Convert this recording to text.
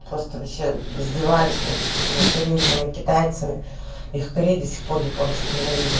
просто издевались над этими корейцами китайцами их крида сих пор японских йен